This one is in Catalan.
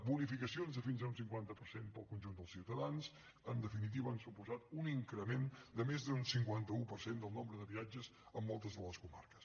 bonificacions de fins a un cinquanta per cent per al conjunt dels ciutadans en definitiva han suposat un increment de més d’un cinquanta un per cent del nombre de viatges en moltes de les comarques